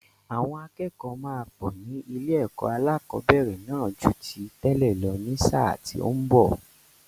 Àwọn akẹ́kọ̀ọ́ máa pọ̀ ní ilé-ẹ̀kọ́ alẹ́kọ̀ọ́bẹ̀rẹ̀ náà ju ti tẹ́lẹ̀ lọ ní sáà tí ó ń bọ̀.